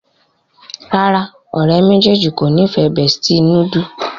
ràrá ọ̀rẹ́ méjèèjì kọ ní ìfẹ bestie noodle